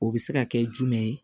O bɛ se ka kɛ jumɛn ye